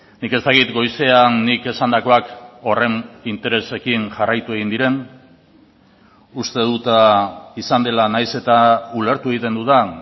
nik ez dakit goizean nik esandakoak horren interesekin jarraitu egin diren uste dut izan dela nahiz eta ulertu egiten dudan